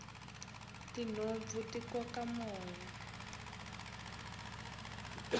tinhompfu ti koka moya